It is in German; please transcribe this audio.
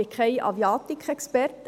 Ich bin kein Aviatikexperte.